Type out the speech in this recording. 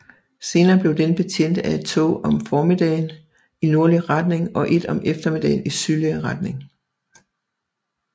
Senere blev den betjent af et tog om formiddagen i nordlig retning og et om eftermiddagen i sydlig retning